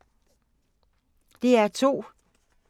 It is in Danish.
DR2